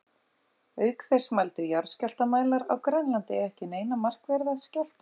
Auk þess mældu jarðskjálftamælar á Grænlandi ekki neina markverða skjálfta.